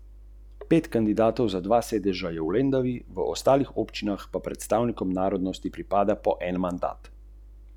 Hrvat je imel v šesti in deseti igri priložnost za vrnitev, a mu ni uspelo.